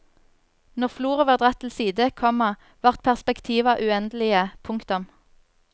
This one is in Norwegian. Når floret var dratt til side, komma vart perspektiva uendelege. punktum